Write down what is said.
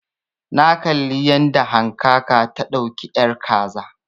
Na kalli yadda hankaka ta dauki ƴar kaza